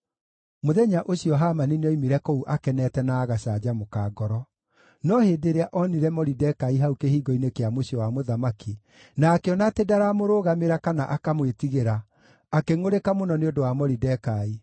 Mũthenya ũcio Hamani nĩoimire kũu akenete na agacanjamũka ngoro. No hĩndĩ ĩrĩa onire Moridekai hau kĩhingo-inĩ kĩa mũciĩ wa mũthamaki na akĩona atĩ ndaramũrũgamĩra kana akamwĩtigĩra, akĩngʼũrĩka mũno nĩ ũndũ wa Moridekai.